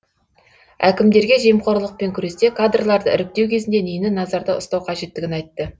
әкімдерге жемқорлықпен күресте кадрларды іріктеу кезінде нені назарда ұстау қажеттігін айтты